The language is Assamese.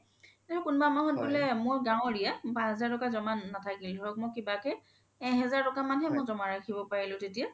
যে মোৰ কোনবা মাহত বুলে মোৰ গও area মোৰ পাচ হেজাৰ তকা নাথাকিল ধৰক মই কিবা কে এগ হাজাৰ তকা মান হে ৰখিব পৰিলো তেতিয়া